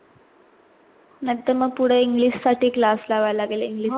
नंतर मग पुढे english साठी class लावायला लागेल English